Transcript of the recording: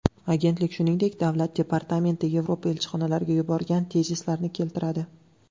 Agentlik, shuningdek, Davlat departamenti Yevropa elchixonalariga yuborgan tezislarni keltiradi.